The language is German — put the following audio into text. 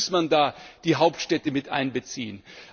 Natürlich muss man da die Hauptstädte miteinbeziehen.